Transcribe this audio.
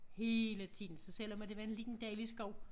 Hele tiden så selvom at det var en lille dejlig skov